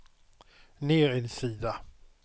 ner en sida